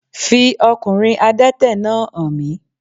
Fi okùnrin Adẹ́tẹ̀ náà hàn mí